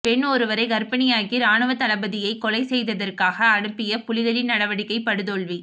பெண் ஒருவரைக் கர்ப்பிணியாக்கி ராணுவத்தளபதியைக் கொலைசெய்வதற்கு அனுப்பிய புலிகளின் நடவடிக்கை படுதோல்வி